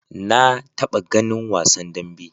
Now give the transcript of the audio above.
Na taɓa ganin wasan dambe.